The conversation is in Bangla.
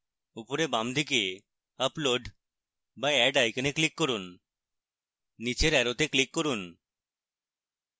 উপরে বাম দিকে upload বা add icon click করুন